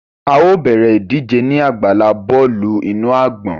A yóò bẹrẹ idije ni agbala bọọlu inu agbọn